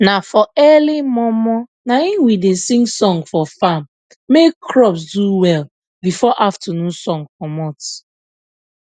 na for early mor mor naim we da sing song for farm make crop do well before afternoon sun comot